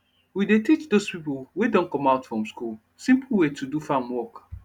we dey teach dos pipo wey don come out from school simple way to do farm work